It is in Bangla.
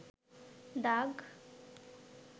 দাগ